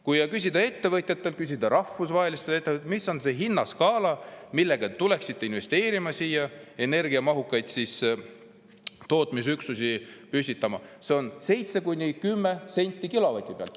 Kui küsida ettevõtjatelt, küsida rahvusvahelistelt ettevõtjatelt, mis on see hinnaskaala, millega tuleksite siia investeerima, energiamahukaid tootmisüksusi püstitama, see on 7–10 senti kilovati pealt.